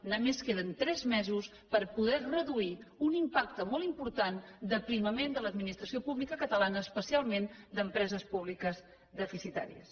només queden tres mesos per poder reduir un impacte molt important d’aprimament de l’administració pública catalana especialment d’empreses públiques deficitàries